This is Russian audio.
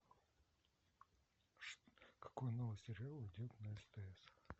какой новый сериал идет на стс